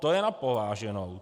To je na pováženou.